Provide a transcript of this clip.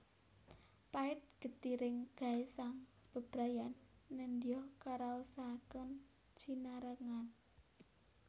Pait getiring gesang bebrayan nedya karaosaken sinarengan